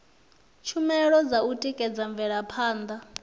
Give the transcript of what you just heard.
tshumelo dza u tikedza mvelaphanda